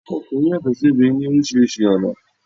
Ọkùnrin yàtò sí obìnrin ní orísìírísìí ọ̀nà